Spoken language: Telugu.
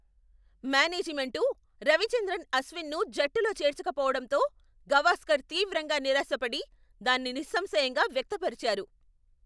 మ్యానేజిమెంటు రవిచంద్రన్ అశ్విన్ను జట్టులో చేర్చకపోవటంతో గవాస్కర్ తీవ్రంగా నిరాశపడి, దాన్ని నిస్సంశయంగా వ్యక్తపరిచారు.